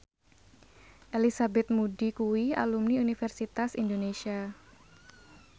Elizabeth Moody kuwi alumni Universitas Indonesia